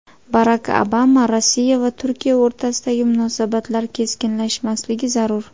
Barak Obama: Rossiya va Turkiya o‘rtasidagi munosabatlar keskinlashmasligi zarur.